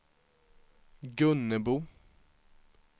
Gunnebo